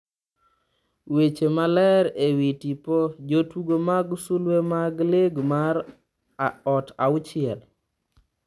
Weche moler ewi tipo, jotugo mag sulwe mag lig mar ot auchiel.